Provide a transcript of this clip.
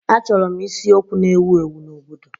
Achọrọ m isiokwu na-ewu ewu n'obodo